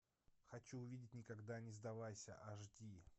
хочу увидеть никогда не сдавайся аш ди